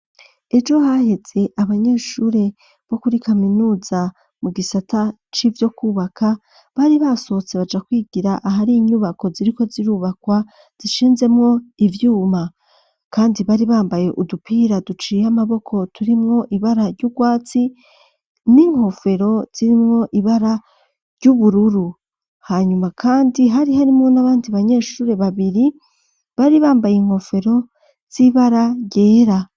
Ejo haheze, abanyeshure, bo kuri kaminuza, mu gisata c'ivyo kwubaka, bari basohotse, baja kwigira, ahari inyubako, ziriko zirubakwa, zishinzemwo ivyuma; kandi, bari bambaye, udupira duciye amaboko, turimwo ibara ry'urwatsi, n'inkofero zirimwo, ibara ry'ubururu; hanyuma kandi, hari harimwo, n'abandi banyeshure babiri, bari bambaye inkofero z'ibara ryera.